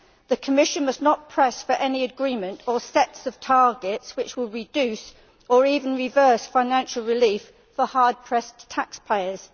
The Commission must not press for any agreement or sets of targets which will reduce or even reverse financial relief for hard pressed taxpayers.